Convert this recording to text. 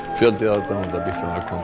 fjöldi aðdáenda Bítlanna kom